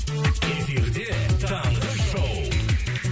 эфирде таңғы шоууу